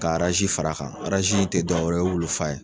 Ka arazi far'a kan arazi in tɛ dɔwɛrɛ ye o ye wulufa ye.